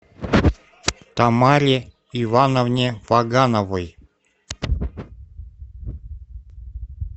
тамаре ивановне вагановой